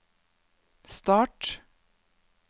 start